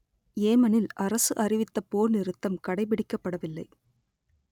ஏமனில் அரசு அறிவித்த போர் நிறுத்தம் கடைபிடிக்கப்படவில்லை